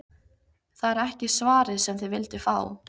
Það er ekki svarið sem þið vilduð fá.